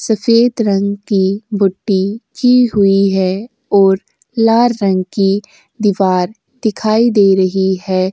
सफेद रंग की बूटी की हुई है और लाल रंग की दीवार दिखाई दे रही है।